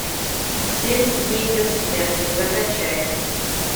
семь дней до смерти закачай